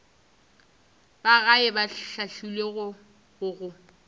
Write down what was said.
ba gae ba hlahlilwego go